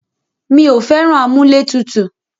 Mí ò fẹ́ràn amúlẹ̀tutù.